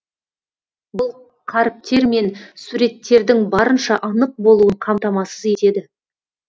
бұл қаріптер мен суреттердің барынша анық болуын қамтамасыз етеді